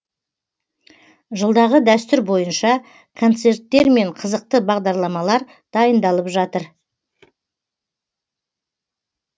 жылдағы дәстүр бойынша концерттер мен қызықты бағдарламалар дайындалып жатыр